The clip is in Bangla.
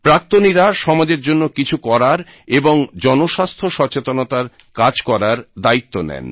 প্রাক্তনীরা সমাজের জন্য কিছু করার এবং জনস্বাস্থ্য সচেতনতার কাজ করার দায়িত্ব নেন